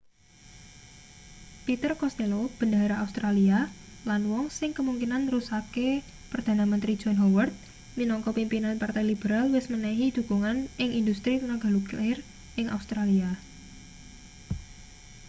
peter costello bendahara australia lan wong sing kemungkinan nerusake perdana menteri john howard minangka pimpinan partai liberal wis menehi dhukungan ing industri tenaga nuklir ing australia